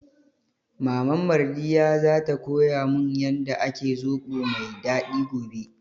Maman Mardiyya za ta koya mun yanda ake zobo mai daɗi gobe